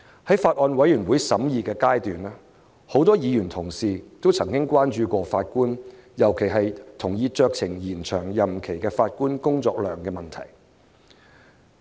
在法案委員會審議階段，很多議員同事曾關注法官，尤其是同意酌情延長任期的法官工作量的問題。